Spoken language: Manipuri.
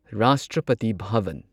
ꯔꯥꯁꯇ꯭ꯔꯄꯇꯤ ꯚꯥꯚꯟ